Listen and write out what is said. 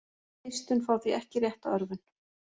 Eistun fá því ekki rétta örvun.